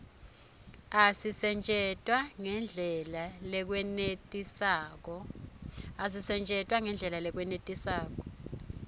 asisetjentwa ngendlela lekwenetisako